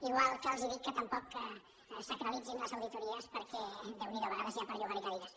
igual que els dic que tampoc sacralitzin les auditories perquè déu n’hi do a vegades n’hi ha per llogar hi cadires